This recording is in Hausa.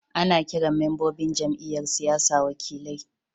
Ana kiran membobin jam'iyyar siyasa wakilai.